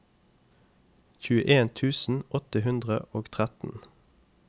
tjueen tusen åtte hundre og tretten